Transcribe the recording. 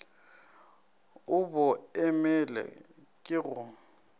o bo imele ke go